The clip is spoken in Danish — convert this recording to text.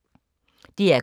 DR K